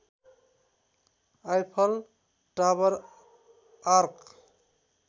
Eiffel Tower arc